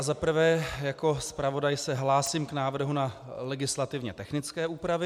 Za prvé jako zpravodaj se hlásím k návrhu na legislativně technické úpravy.